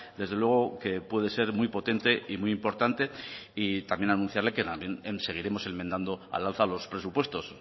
desde luego puede ser muy potente y muy importante y también anunciarle que seguiremos enmendando al alza los presupuestos